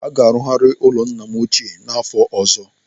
Aga arugharị ụlọ ala nna m ochie n'afọ ọzọ.